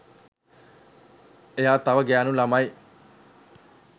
එයා තව ගැහැනු ළමයි